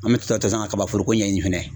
An bɛ to ka taa kabaforoko ɲɛɲini fɛnɛ